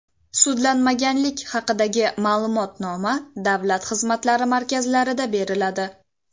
Sudlanmaganlik haqidagi ma’lumotnoma Davlat xizmatlari markazlarida beriladi.